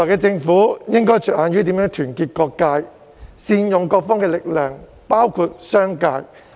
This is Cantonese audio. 政府未來應着眼於如何團結各界及善用各方的力量，包括商界。